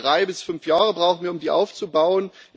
Drei bis fünf Jahre brauchen wir, um die aufzubauen.